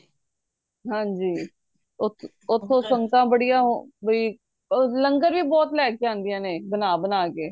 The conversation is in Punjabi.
ਹਨਜੀ ਓਥੋਂ ਸੰਗਤਾਂ ਬੜੀਆਂ ਬਈ ਲੰਗਰ ਵੀ ਬਹੁਤ ਲੈ ਕੇ ਆਂਦੀਆਂ ਨੇ ਬਣਾ ਬਣਾ ਕੇ